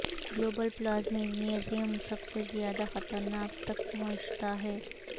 global پلازمینزم سب سے زیادہ خطرناک تک پہنچتا ہے